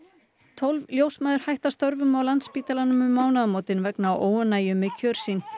tólf ljósmæður hætta störfum á Landspítalanum um mánaðamótin vegna óánægju með kjör sín